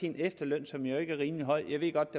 en efterløn som jo ikke er rimelig høj jeg ved godt